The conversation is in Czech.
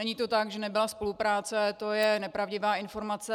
Není to tak, že nebyla spolupráce, to je nepravdivá informace.